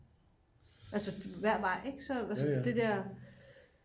altså hver vej ikk altså det der